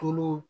Tulo